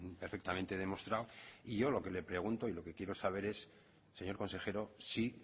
perfectamente demostrado y yo lo que le pregunto y lo que quiero saber es señor consejero si